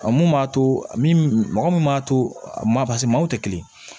A mun b'a to min mɔgɔ min b'a to maa maaw tɛ kelen ye